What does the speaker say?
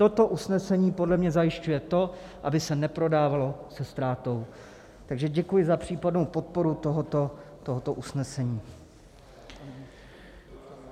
Toto usnesení podle mě zajišťuje to, aby se neprodávalo se ztrátou, takže děkuji za případnou podporu tohoto usnesení.